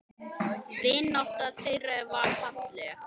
Vinátta þeirra var falleg.